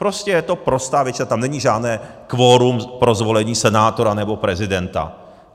Prostě je to prostá většina, tam není žádné kvorum pro zvolení senátora nebo prezidenta.